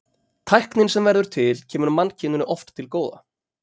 tæknin sem verður til kemur mannkyninu oft til góða